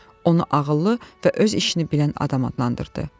Onu ağıllı və öz işini bilən adam adlandırdı.